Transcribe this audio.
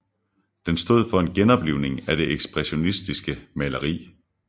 Den stod for en genoplivning af det ekspressionistiske maleri